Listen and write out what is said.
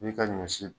I ka ɲɔ si